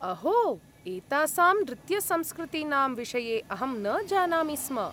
अहो! एतासां नृत्यसंस्कृतीनां विषये अहं न जानामि स्म।